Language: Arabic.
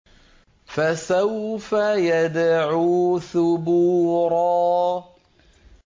فَسَوْفَ يَدْعُو ثُبُورًا